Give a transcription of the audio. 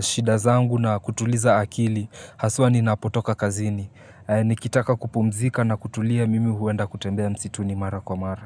shida zangu na kutuliza akili Haswa ninapotoka kazini, nikitaka kupumzika na kutulia mimi huenda kutembea msituni mara kwa mara.